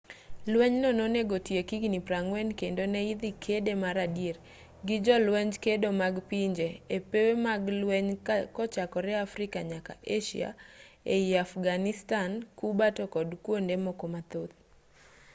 lwenyno nonego otiek higni 40 kendo ne idhi kede mar adier gi jolwenj kedo mag pinje e pewe mag lweny kochakore afrika nyaka asia ei afghanistan cuba to kod kwonde moko mathoth